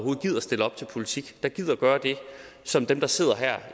gider stille op til politik der gider gøre det som dem der sidder her